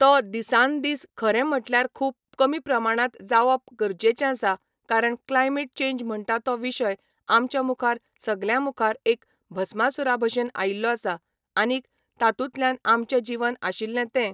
तो दिसानन दीस खरें म्हटल्यार खूब कमी प्रमाणांत जावप गरजेचें आसा कारण क्लायमेट चेंज म्हणटा तो विशय आमच्या मुखार सगल्या मुखार एक भस्मासुरा भशेन आयिल्लो आसा आनीक तातूंतल्यान आमचें जिवन आशिल्लें तें